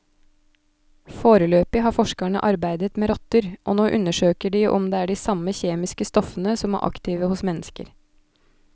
Foreløpig har forskerne arbeidet med rotter, og nå undersøker de om det er de samme kjemiske stoffene som er aktive hos mennesker.